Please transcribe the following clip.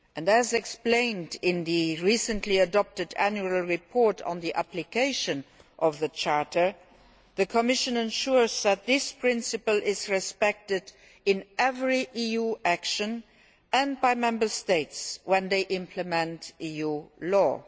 As explained in the recently adopted annual report on the application of the Charter, the Commission ensures that this principle is respected in every EU action and by Member States when they implement EU law.